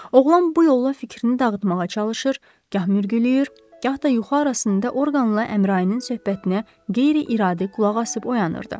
Oğlan bu yolla fikrini dağıtmağa çalışır, gah mürgüləyir, gah da yuxu arasında orqanla Əmrayinin söhbətinə qeyri-iradi qulaqasıb oyanırdı.